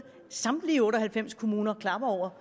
samtlige otte og halvfems kommuner klapper over